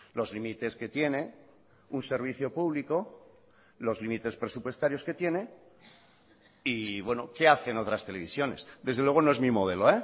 los límites que tiene un servicio público los límites presupuestarios que tiene y bueno qué hacen otras televisiones desde luego no es mi modelo